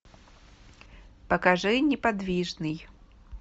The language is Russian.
покажи неподвижный